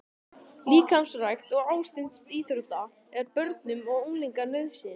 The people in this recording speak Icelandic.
Líkamsrækt og ástundun íþrótta er börnum og unglingum nauðsyn.